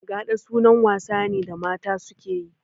Gaɗa sunan wasa ne da mata suke yi